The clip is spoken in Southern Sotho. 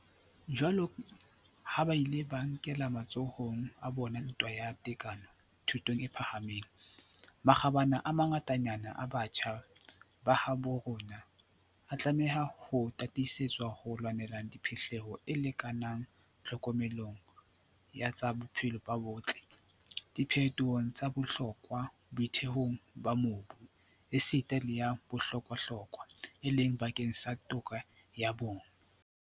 Jwaloka ha ba ile ba e nkela matsohong a bona ntwa ya tekano thutong e phahameng, makgabane a mangatanyana a batjha ba habo rona a tlameha ho tataisetswa ho lwaneleng phihlello e lekanang tlhokomelong ya tsa bophelo bo botle, diphetohong tsa bohlokwa boithuelong ba mobu, esita le ya bohlokwahlokwa, e leng bakeng sa toka ya bong.